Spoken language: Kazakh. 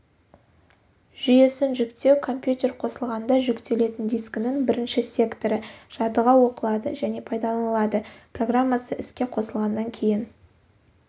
жүйесін жүктеу компьютер қосылғанда жүктелетін дискінің бірінші секторы жадыға оқылады және пайдаланылады программасы іске қосылғаннан кейін